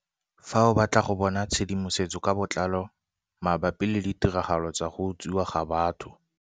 Fa o batla go bona tshedimosetso ka botlalo mabapi le ditiragalo tsa go utswiwa ga batho